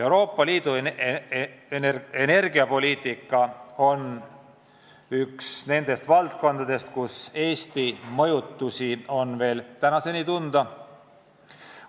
Euroopa Liidu energiapoliitika on üks nendest valdkondadest, kus Eesti mõjutusi on veel tänaseni tunda.